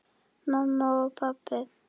Mamma og pabbi.